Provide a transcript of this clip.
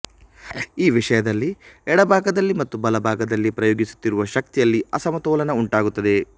ಈ ವಿಷಯದಲ್ಲಿ ಎಡಭಾಗದಲ್ಲಿ ಮತ್ತು ಬಲಭಾಗದಲ್ಲಿ ಪ್ರಯೋಗಿಸುತ್ತಿರುವ ಶಕ್ತಿಯಲ್ಲಿ ಅಸಮತೋಲನ ಉಂಟಾಗುತ್ತದೆ